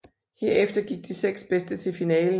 Herefter gik de seks bedste til finalen